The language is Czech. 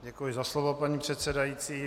Děkuji za slovo, paní předsedající.